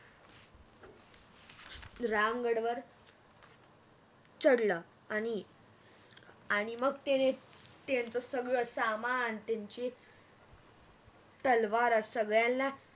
राम गडवर चढल आणि मग त्याने त्यांच सगळ सामान त्यांची तलवार सगळ्यांना